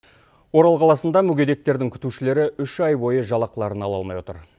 орал қаласында мүгедектердің күтушілері үш ай бойы жалақыларын ала алмай отыр